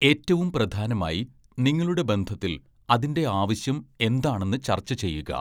ഏറ്റവും പ്രധാനമായി നിങ്ങളുടെ ബന്ധത്തിൽ അതിന്റെ ആവശ്യം എന്താണെന്ന് ചർച്ച ചെയ്യുക.